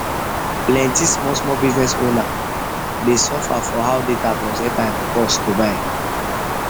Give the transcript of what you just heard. plenti small small business owner dey suffer for suffer for how data plus airtime cost to buy